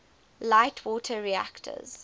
light water reactors